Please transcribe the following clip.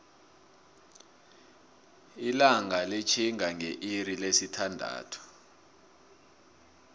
ilanga litihinga ngeilixi lesi thandathu